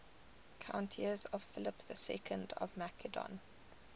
courtiers of philip ii of macedon